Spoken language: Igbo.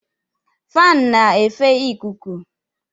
Faanụ na efe ịkụkụ